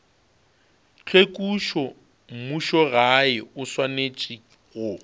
tlhwekišo mmušogae o swanetše go